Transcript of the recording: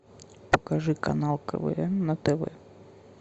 покажи канал квн на тв